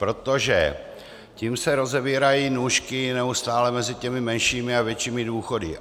Protože tím se rozevírají nůžky neustále mezi těmi menšími a většími důchody.